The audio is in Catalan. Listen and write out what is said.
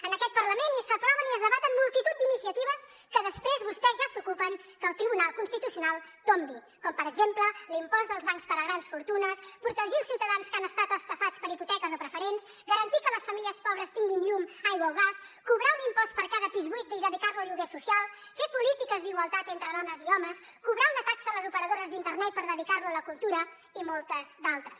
en aquest parlament s’aproven i es debaten multitud d’iniciatives que després vostès ja s’ocupen que el tribunal constitucional tombi com per exemple l’impost als bancs per a grans fortunes protegir els ciutadans que han estat estafats per hipoteques o preferents garantir que les famílies pobres tinguin llum aigua o gas cobrar un impost per cada pis buit i dedicar lo a lloguer social fer polítiques d’igualtat entre dones i homes cobrar una taxa a les operadores d’internet per dedicar la a la cultura i moltes altres